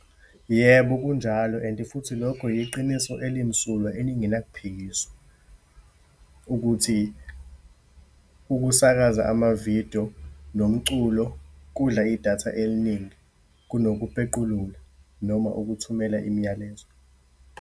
Yebo, kunjalo and futhi lokho yiqiniso elimsulwa elingena kuphikiswa, ukuthi ukusakaza amavidiyo nomculo, kudla idatha eliningi kunokuphequlula noma ukuthumela imiyalezo.